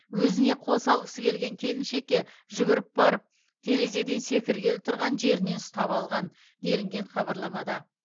өзіне сол салғысы келген келіншекке жүгіріп барып терезеден секіргелі тұрған жерінен ұстап алған делінген хабарламада